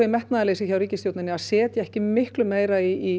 metnaðarleysi hjá ríkisstjórn að setja ekki meira í